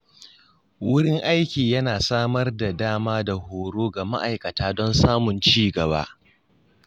Wurin aiki yana samar da dama da horo ga ma'aikata don samun ci gaba.